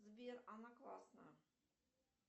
сбер она классная